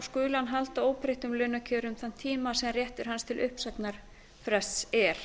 skuli hann halda óbreyttum launakjörum þann tíma sem réttur hans til uppsagnarfrests er